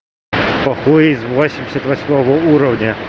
похуизм восемьдесят восьмого уровня